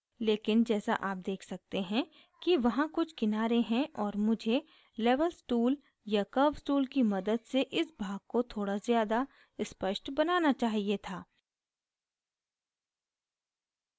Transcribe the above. लेकिन जैसा आप देख सकते हैं कि वहां कुछ किनारे हैं और मुझे levels tool या curves tool की मदद से इस भाग को थोड़ा ज़्यादा स्पष्ट बनाना चाहिए था